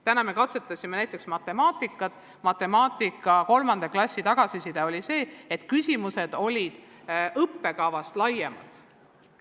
Täna me katsetasime näiteks matemaatikat ja matemaatika 3. klassi tagasiside oli selline, et küsimused olid õppekavast laiemad.